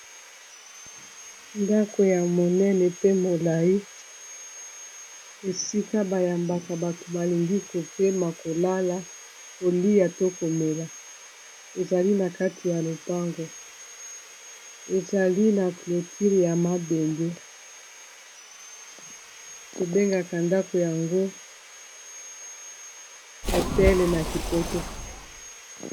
Ndako ya monene pe molayi esika bayambaka bato balingi kopema kolala kolia to komela ezali na kati ya lopango ezali na clotile ya mabende tobengaka ndako yango hotel na kipoto.